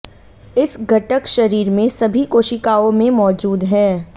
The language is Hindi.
इस घटक शरीर में सभी कोशिकाओं में मौजूद है